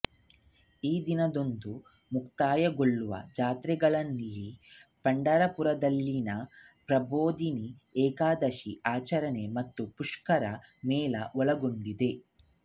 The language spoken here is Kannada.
ಈ ದಿನದಂದು ಮುಕ್ತಾಯಗೊಳ್ಳುವ ಜಾತ್ರೆಗಳಲ್ಲಿ ಪಂಢರಾಪುರದಲ್ಲಿನ ಪ್ರಬೋಧಿನಿ ಏಕಾದಶಿ ಆಚರಣೆ ಮತ್ತು ಪುಷ್ಕರ ಮೇಳ ಒಳಗೊಂಡಿದೆ